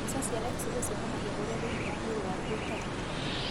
Mbica cia xray cionanagia ũrĩa thĩinĩ wa mwĩrĩ waku ũtarie.